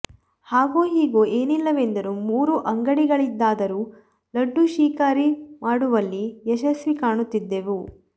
ಹಾಗೂ ಹೀಗೂ ಏನಿಲ್ಲವೆಂದರೂ ಮೂರು ಅಂಗಡಿಗಳಿಂದಾದರೂ ಲಡ್ಡು ಶಿಕಾರಿ ಮಾಡುವಲ್ಲಿ ಯಶಸ್ಸು ಕಾಣುತ್ತಿದ್ದೆವು